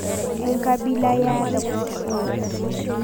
Enkabila yare?